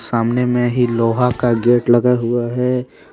सामने में ही लोहा का गेट लगा हुआ हैं।